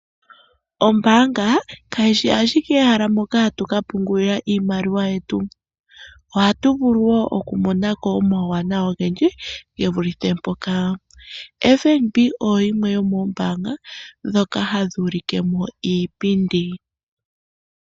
Ombanga kayishi ashike ehala mpoka hatu kapungulila iimaliwa yetu ohatu vulu woo okumonako omauwana ogendji gevulithe mpoka. OFnb oyo yimwe yomoombanga dhoka hadhi ulikemo iipindi.